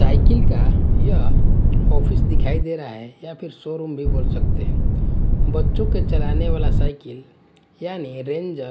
cycle का यह office दिखाई दे रहा हैं या फिर शोरूम भी बोल सकते बच्चों के चलने वाला साइकिल यानी रेंजर --